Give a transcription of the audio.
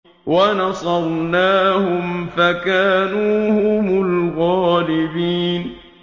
وَنَصَرْنَاهُمْ فَكَانُوا هُمُ الْغَالِبِينَ